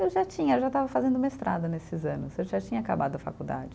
Eu já tinha, eu já estava fazendo mestrado nesses anos, eu já tinha acabado a faculdade.